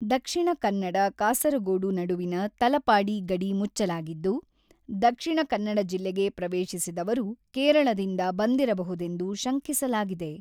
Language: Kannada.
ದಕ್ಷಿಣ ಕನ್ನಡ-ಕಾಸರಗೋಡು ನಡುವಿನ ತಲಪಾಡಿ ಗಡಿ ಮುಚ್ಚಲಾಗಿದ್ದು, ದಕ್ಷಿಣ ಕನ್ನಡ ಜಿಲ್ಲೆಗೆ ಪ್ರವೇಶಿಸಿದವರು ಕೇರಳದಿಂದ ಬಂದಿರಬಹುದೆಂದು ಶಂಕಿಸಲಾಗಿದೆ.